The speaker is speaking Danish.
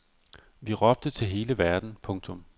Vi råbte til hele verden. punktum